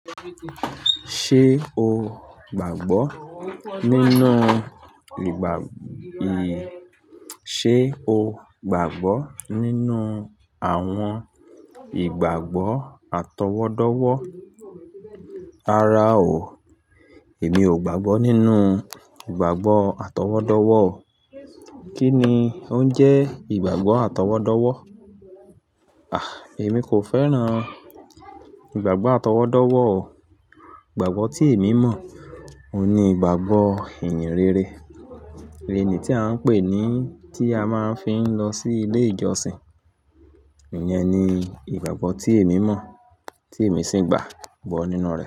Ṣé o gbàgbọ́ nínú ìgbà, ì, ṣé o gbàgbọ́ nínú àwọn ìgbàgbọ́ atọwọ́dọ́wọ́? Rárá o, èmi ò gbàgbọ́ nínú ìgbàgbọ́ atọwọ́dọ́wọ́. Kí ni o ń jẹ́ ìgbàgbọ́ atọwọ́dọ́wọ́? A Àh, èmi kò fẹ́ràn ìgbàgbọ́ atọwọ́dọ́wọ́ o. Ìgbàgbọ́ tí èmi mọ̀, òun ni ìgbàgbọ́ ìyìnrere. Èlé ni tí à ń pè é, ní tí a máa ń fi lọ sí ilé ìjọsìn. Èèyàn ni ìgbàgbọ́ tí èmi mọ̀, tí èmi sì ń gbàgbọ́ nínú rẹ.